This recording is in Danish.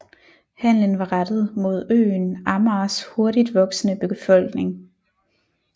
Handelen var rettet mod øen Amagers hurtigt voksende befolkning